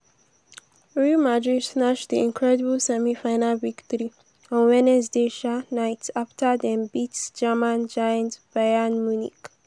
real madrid snatch di incredible semi-final victory on wednesday um night afta dem beat german giant bayern munich.